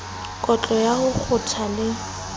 kotlo ya ho kgotha le